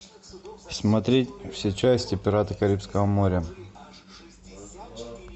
смотреть все части пираты карибского моря